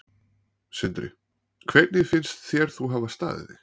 Sindri: Hvernig finnst þér þú hafa staðið þig?